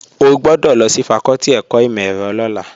O gbọ́dọ̀ lọ sí fakọ́tì ẹ̀kọ́ ìmọ̀-ẹ̀rọ lọ́la!